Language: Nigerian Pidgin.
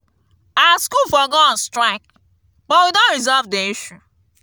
our school for go on strike but we don resolve the issue